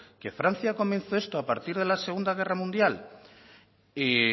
que francia comenzó esto a partir de la segunda guerra mundial y